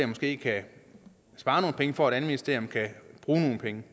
måske kan spare nogle penge for at et anden ministerium kan bruge nogle penge